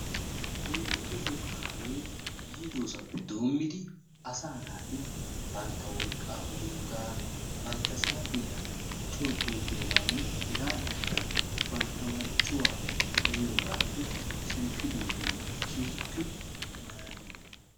Oyddu toho kaamee yiidosappe doommidi asaa naati bantta wolqqaa wuriyogaa, bantta saatiya coo xuuggiyogaanne hegaadankka bantta marccuwaa xayiyogaape shemppiddoogee keehippe malaaliyaba.